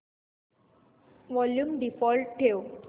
volume default ठेव